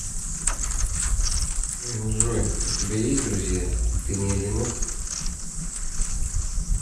джой у тебя есть друзья ты не одинок